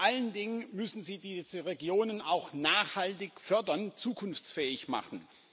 Vor allen Dingen müssen sie diese Regionen auch nachhaltig fördern, zukunftsfähig machen.